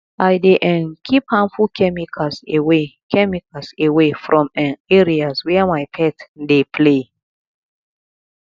i dey um keep harmful chemicals away chemicals away from um areas where my pet dey play